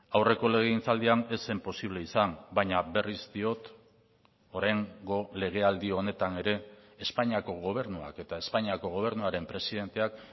aurreko legegintzaldian ez zen posible izan baina berriz diot oraingo legealdi honetan ere espainiako gobernuak eta espainiako gobernuaren presidenteak